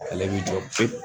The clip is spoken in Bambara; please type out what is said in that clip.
Ale b'i jɔ pewu